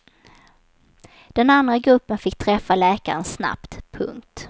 Den andra gruppen fick träffa läkaren snabbt. punkt